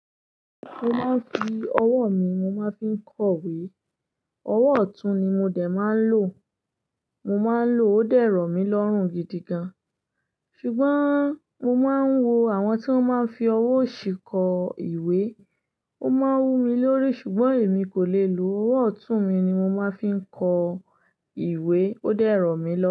Mo máa ń fi ọwọ́ mi mo máa ń fi kọ ìwé. Ọwọ́ ọ̀tún ni mo dé máa ń lò. Mo máa ń lò ó dẹ́ ro mí lọ́rùn gidi gan. Ṣùgbọ́n mo máa ń wo àwọn tí wọ́n máa ń fi ọwọ́ òsì kọ ìwé. Ó máa ń wú mi lórí. Ṣùgbọ́n èmi kò lè lò ó. Ọwọ́ ọ̀tún mi ni mo máa ń fi kọ ìwé. Ó dẹ́rùn mí lọ.